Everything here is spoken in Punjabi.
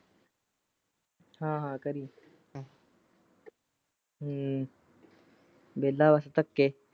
ਹਾਂ ਹਾਂ ਕਰੀ ਹੂ ਵੇਲਾ ਉਸ ਤੇ ਤਕੇ।